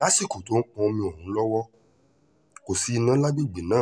lásìkò tó ń pọ́n omi ọ̀hún lọ́wọ́ kò sí iná lágbègbè náà